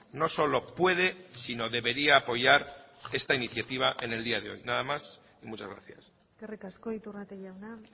no solo puede sino debería apoyar esta iniciativa en el día de hoy nada más y muchas gracias eskerrik asko iturrate jauna